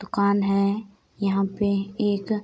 दुकान है यहाँ पे एक --